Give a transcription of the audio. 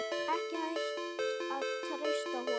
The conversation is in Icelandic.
Ekki hægt að treysta honum.